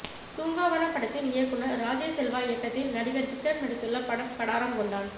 தூங்காவனம் படத்தின் இயக்குநர் ராஜேஷ் செல்வா இயக்கத்தில் நடிகர் விக்ரம் நடித்துள்ள படம் கடாரம் கொண்டான்